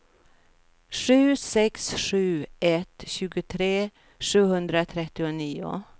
sju sex sju ett tjugotre sjuhundratrettionio